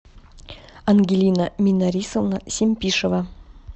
ангелина минарисовна семпишева